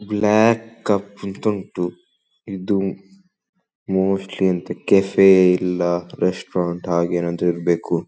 Block ಕಪ್ಪಿದು ಉಂಟು ಇದು ಮೋಸ್ಟ್ಲಿ ಅಂತ ಕೆಫೆ ಇಲ್ಲ ರೆಸ್ಟೋರೆಂಟ್ ಹಾಗೆ ಏನಾದರು ಇರ್ಬೇಕು.